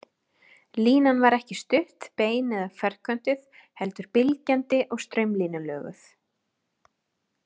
Línan var ekki stutt, bein eða ferköntuð heldur bylgjandi og straumlínulöguð.